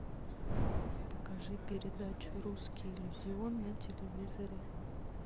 покажи передачу русский иллюзион на телевизоре